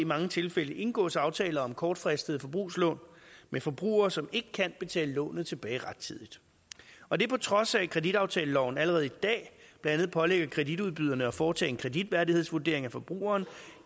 mange tilfælde indgås aftaler om kortfristede forbrugslån med forbrugere som ikke kan betale lånet tilbage rettidigt og det på trods af at kreditaftaleloven allerede i dag blandt andet pålægger kreditudbyderne at foretage en kreditværdighedsvurdering af forbrugeren